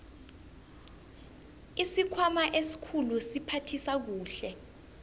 isikhwama esikhulu siphathisa kuhle